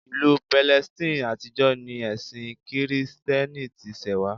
Ìlú Palestine àtijọ́ ni ẹ̀sin kìrìtẹ́nì ti ṣẹ̀wá